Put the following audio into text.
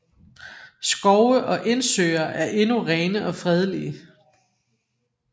Skove og indsøer er endnu rene og fredelige